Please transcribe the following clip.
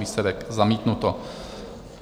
Výsledek: zamítnuto.